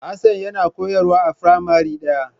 Hassan yana koyarwa a firamare ɗaya.